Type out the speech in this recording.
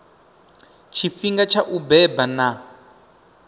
tshifhinga tsha u beba na